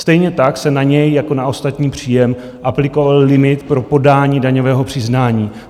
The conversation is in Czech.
Stejně tak se na něj jako na ostatní příjem aplikoval limit pro podání daňového přiznání.